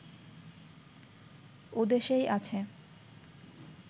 ও দেশেই আছে